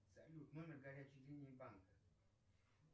салют номер горячей линии банка